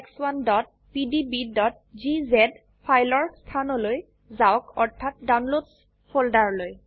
4ex1pdbজিজে ফাইলৰ স্থানলৈ যাওক অৰ্থাৎ ডাউনলোডছ ফোল্ডাৰলৈ